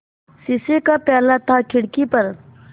शीशे का प्याला था खिड़की पर